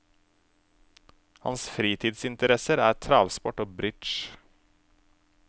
Hans fritidsinteresser er travsport og bridge.